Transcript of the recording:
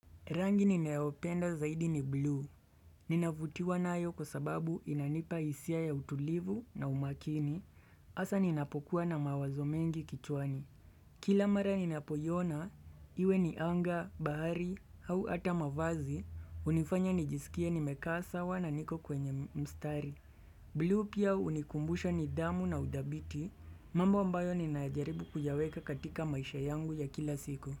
Rangi ninayopenda zaidi ni blue, ninavutiwa nayo kwa sababu inanipa hisia ya utulivu na umakini, hasa ninapokuwa na mawazo mengi kichwani. Kila mara ninapoiona, iwe ni anga, bahari, au ata mavazi, hunifanya nijisikie nimekaa sawa na niko kwenye mstari. Blue pia hunikumbusha nidhamu na udhabiti, mambo ambayo ninajaribu kuyaweka katika maisha yangu ya kila siku.